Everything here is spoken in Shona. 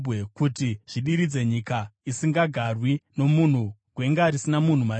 kuti zvidiridze nyika isingagarwi nomunhu, gwenga risina munhu mariri,